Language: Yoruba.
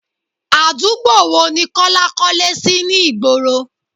Àdúgbò wo ni Kọ́lá kọ́lé sì ni ìgboro?